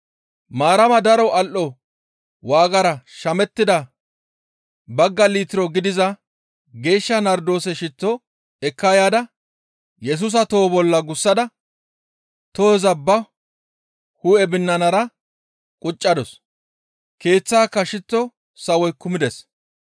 Maarama daro al7o waagara shamettida bagga litiro gidiza geeshsha nardoose shitto ekka yaada Yesusa toho bolla gussada tohoza ba hu7e binanara quccadus. Keeththaaka shitto sawoy kumides.